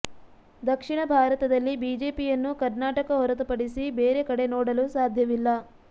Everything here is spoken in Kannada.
ದಕ್ಷಿಣ ಭಾರತದಲ್ಲಿ ಬಿಜೆಪಿಯನ್ನು ಕರ್ನಾಟಕ ಹೊರತಪಡಿಸಿ ಬೇರೆ ಕಡೆ ನೋಡಲು ಸಾಧ್ಯವಿಲ್ಲ